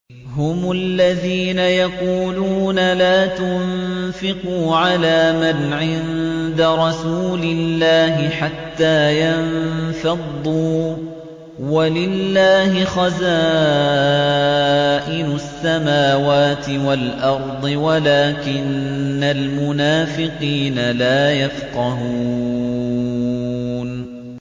هُمُ الَّذِينَ يَقُولُونَ لَا تُنفِقُوا عَلَىٰ مَنْ عِندَ رَسُولِ اللَّهِ حَتَّىٰ يَنفَضُّوا ۗ وَلِلَّهِ خَزَائِنُ السَّمَاوَاتِ وَالْأَرْضِ وَلَٰكِنَّ الْمُنَافِقِينَ لَا يَفْقَهُونَ